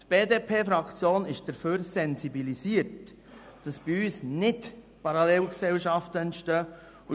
Die BDP-Fraktion ist dafür sensibilisiert, dass bei uns nicht Parallelgesellschaften entstehen.